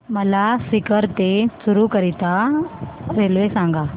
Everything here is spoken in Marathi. मला सीकर ते चुरु करीता रेल्वे सांगा